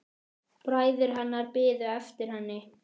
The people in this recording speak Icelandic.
Bræður hennar bíða eftir henni.